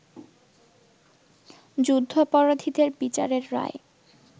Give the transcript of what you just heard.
যুদ্ধাপরাধীদের বিচারের রায়